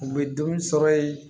U bɛ dumuni sɔrɔ yen